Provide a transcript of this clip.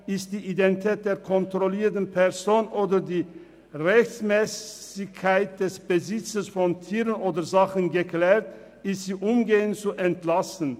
«Ist die Identität der kontrollierten Person oder die Rechtmässigkeit des Besitzes von Tieren oder Sachen geklärt, ist sie umgehend zu entlassen.